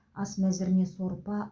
ас мәзіріне сорпа